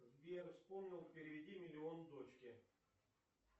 сбер вспомнил переведи миллион дочке